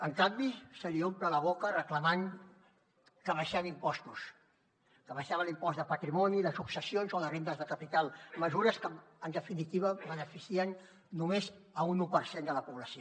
en canvi se li omple la boca reclamant que abaixem impostos que abaixem l’impost de patrimoni de successions o de rendes de capital mesures que en definitiva beneficien només un u per cent de la població